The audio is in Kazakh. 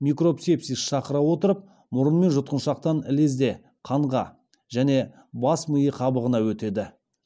микроб сепсис шақыра отырып мұрын мен жұтқыншақтан лезде қанға және бас миы қабығына өтеді